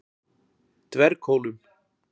Dverghólum